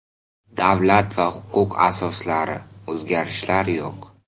Davlat va huquq asoslari: o‘zgarishlar yo‘q.